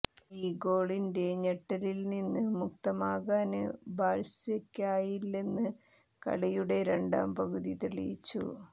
ഈ ഗോളിന്റെ ഞെട്ടലില്നിന്ന് മുക്തമാകാന് ബാഴ്സയ്ക്കായില്ലെന്ന് കളിയുടെ രണ്ടാം പകുതി തെളിയിച്ചു